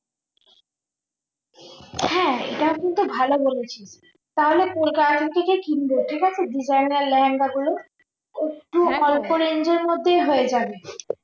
হ্যাঁ এটা কিন্তু ভালো বলেছিস তাহলে কলকাতাথেকে কিনব ঠিক আছে designer লেহেঙ্গা গুলো একটু অল্প range এর মধ্যেই হয়ে যাবে